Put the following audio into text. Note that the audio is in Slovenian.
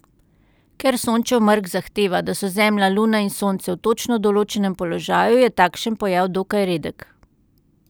Ker Sončev mrk zahteva, da so Zemlja, Luna in Sonce v točno določenem položaju, je takšen pojav dokaj redek.